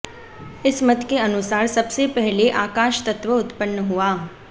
इस मत के अनुसार सबसे पहले आकाश तत्व उत्पन्न हुआ